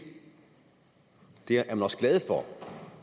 det er man også glad for